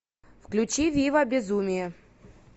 включи вива безумие